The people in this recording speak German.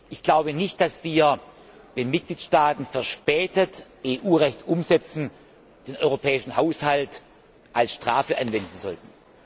Ich glaube nicht, dass wir, wenn Mitgliedstaaten verspätet EU Recht umsetzen, den europäischen Haushalt als Strafe anwenden sollten.